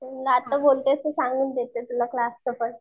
आता बोलले तर सांगून देते तुला क्लासच पण.